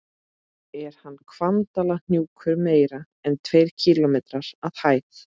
Er Hvannadalshnjúkur meira en tveir kílómetrar að hæð?